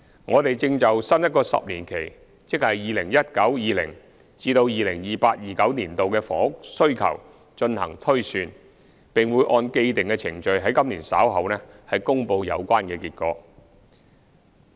我們正就新一個10年期的房屋需求進行推算，並會按既定程序於今年稍後公布有關結果。